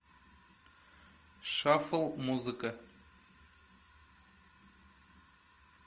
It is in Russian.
шафл музыка